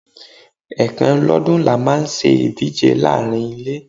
Ẹ̀kan lọ́dún ni a máa ń ṣe ìdíje láàárín ilé.